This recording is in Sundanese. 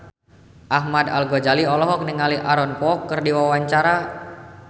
Ahmad Al-Ghazali olohok ningali Aaron Kwok keur diwawancara